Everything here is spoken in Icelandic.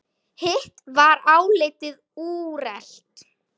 Hitt var álitið úrelt.